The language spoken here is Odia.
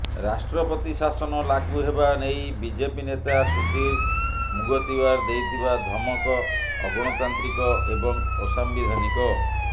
ରାଷ୍ଟ୍ରପତି ଶାସନ ଲାଗୁ ହେବା ନେଇ ବିଜେପି ନେତା ସୁଧୀର ମୁଗତିୱାର ଦେଇଥିବା ଧମକ ଅଗଣତାନ୍ତ୍ରିକ ଏବଂ ଅସାମ୍ବିଧାନିକ